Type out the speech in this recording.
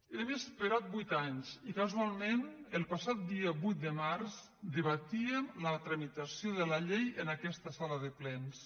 hem esperat vuit anys i casualment el passat dia vuit de març debatíem la tramitació de la llei en aquesta sala de plens